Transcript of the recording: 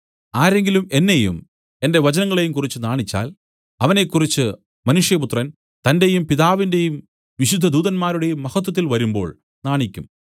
ആരെങ്കിലും എന്നെയും എന്റെ വചനങ്ങളെയും കുറിച്ച് നാണിച്ചാൽ അവനെക്കുറിച്ച് മനുഷ്യപുത്രൻ തന്റെയും പിതാവിന്റെയും വിശുദ്ധ ദൂതന്മാരുടെയും മഹത്വത്തിൽ വരുമ്പോൾ നാണിക്കും